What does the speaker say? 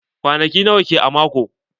Kwanaki nawa ke a mako?